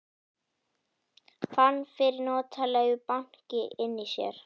Fann fyrir notalegu banki inni í sér.